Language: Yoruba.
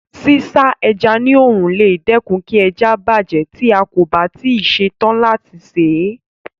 Sísá ẹja ní òòrùn lè dẹ́kun kí ẹja bàjẹ́ tí a kò bá tí ì ṣe tán láti sè é.